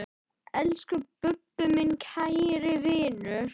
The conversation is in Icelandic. Elsku Bubbi, minn kæri vinur.